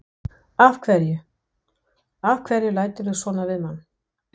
Af hverju. af hverju læturðu svona við mann?